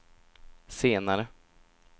senare